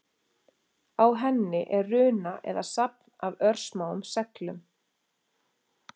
Á henni er runa eða safn af örsmáum seglum.